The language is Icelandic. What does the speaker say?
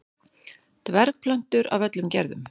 Dvergplöntur af öllum gerðum.